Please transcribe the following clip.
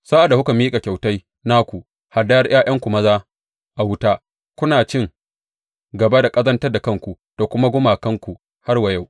Sa’ad da kuka miƙa kyautai naku, hadayar ’ya’yanku maza a wuta, kuna cin gaba da ƙazantar da kanku da duka gumakanku har wa yau.